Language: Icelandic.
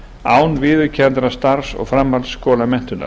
án viðurkenndrar starfs og framhaldsskólamenntunar